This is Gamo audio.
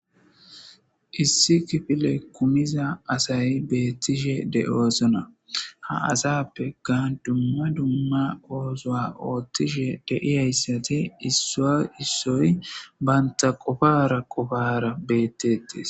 Issi kifile kumiza asay beettishe de'oosona. Ha asappeka dumma dumma oothuwa ooththishe deiyayssati issoy issoy banta qofara qofara beettetes.